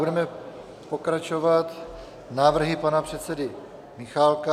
Budeme pokračovat návrhy pana předsedy Michálka.